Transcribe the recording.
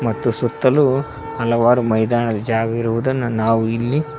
ಮತ್ತು ಸುತ್ತಲೂ ಹಲವಾರು ಮೈದಾನ ಜಾಗ ಇರುವುದನ್ನ ನಾವು ಇಲ್ಲಿ--